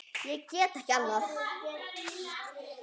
Og get ekki annað.